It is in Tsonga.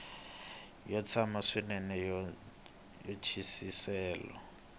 yo tsana swinene ya matwisiselo